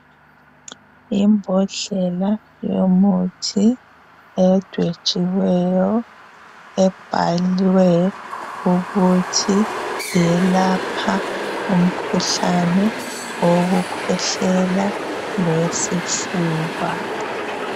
Imbodlela yomuthi edwetshiweyo ebhalwe ukuthi yelapha umkhuhlane owokukhwehlela lowesifuba.